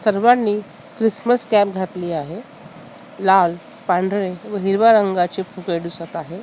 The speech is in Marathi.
सर्वांनी क्रिसमस कॅप घातली आहे लाल पांढरी व हिरव्या रंगाचे फुगे दिसत आहे.